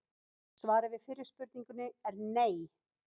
Svarið við fyrri spurningunni er nei!